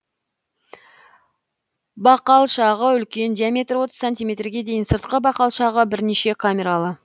бақалшағы үлкен диаметрі отыз сантиметрге дейін сыртқы бақалшағы бірнеше камералы